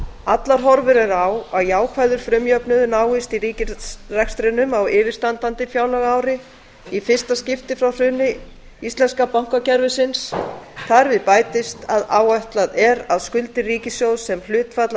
allar horfur eru á að jákvæður frumjöfnuður náist í ríkisrekstrinum á yfirstandandi fjárlagaári í fyrsta skipti frá hruni íslenska bankakerfisins þar við bætist að áætlað er að skuldir ríkissjóðs sem hlutfall af